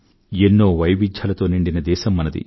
ఎన్నో వైవిధ్యాలతో నిండిన దేశం మనది